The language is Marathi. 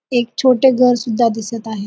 एक छोटे घर सुद्धा दिसत आहे.